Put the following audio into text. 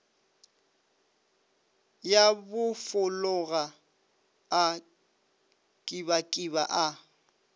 ya bofologa a kibakiba a